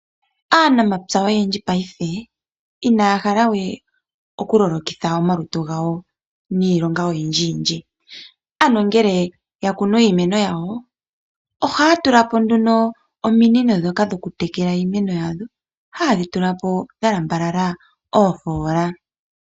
Aanamapya oyendji paife inaya halawe oku lolokitha omalutu gawo niilonga oyindji yindji, ano ngele yakunu iimeno yawo ohaya tulapo nduno ominino dhoka dhoku tekela iimeno yawo haye dhi tulapo dhalambalala oofola.